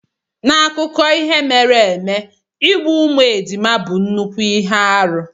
N'akụkọ ihe mere eme, igbu ụmụ ejima bụ nnukwu ihe arụ.